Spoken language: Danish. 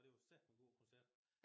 Og det var sateme god koncert